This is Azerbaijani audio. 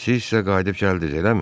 Siz isə qayıdıb gəldiz, eləmi?